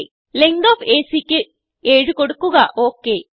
okay length of AC ക്ക് 7കൊടുക്കുക